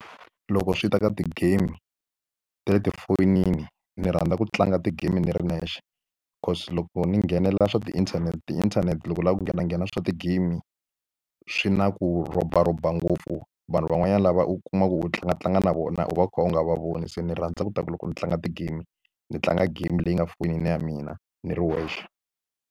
Loko swi ta ka ti-game ta le tifonini, ni rhandza ku tlanga ti-game ni ri nexe. Because loko ni nghenela swa ti-internet, ti-internet ni vula ku nghenanghena swa ti-game swi na ku robaroba ngopfu. Vanhu van'wanyana lava u kuma ku u tlangatlanga na vona u va u kha u nga va voni. Se ni rhandza leswaku loko ndzi tlanga ti-game ni tlanga game leyi nga fonini ya mina ni ri wexe.